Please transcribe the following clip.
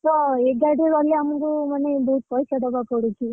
ତ ଏଗାଡ଼ିରେ ଗଲେ ଆମକୁ ମାନେ ବହୁତ ପଇସା ଦବାକୁ ପଡୁଛି।